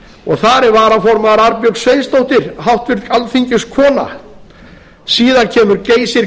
og þar er varaformaður arnbjörg sveinsdóttir háttvirtur alþingiskona síðan kemur geysir